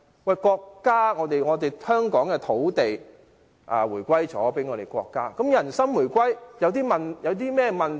香港的土地回歸國家後，人心回歸又有甚麼問題？